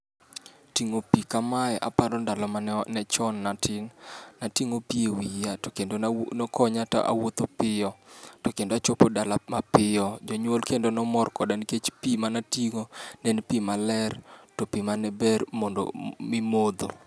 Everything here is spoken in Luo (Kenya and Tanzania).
Ting'o pi kamae aparo ndalo mane manechon natin, nating'o pi ewiya to kendo nokonya, nawuotho piyo, to kendo achopo dala mapiyo. Jonyuol kendo ne mor koda nikech pi mane ating'o ne en pi maler, to pi mane ber mimodho